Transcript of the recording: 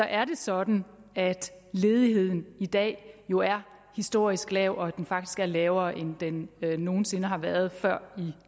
er det sådan at ledigheden i dag jo er historisk lav og at den faktisk er lavere end den nogen sinde har været før i